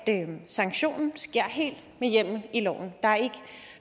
sanktionen sker helt med hjemmel i loven der er ikke